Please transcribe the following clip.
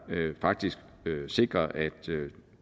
faktisk sikrer at